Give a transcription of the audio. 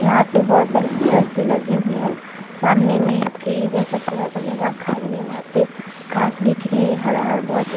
यहाँ पे बहोत सारे चेयर्स भी लगे हुए हैं सामने में फील्ड जैसे थोड़ा-सा जगह खाली है वहा पे घास दिख रही है हरा-हर बहोत --